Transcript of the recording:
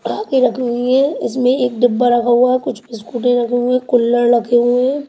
रखी हुई है इसमें एक डिब्बा रखा हुआ है कुछ बिस्कूट रखे हुए हैं कुल्लर रखे हुए हैं.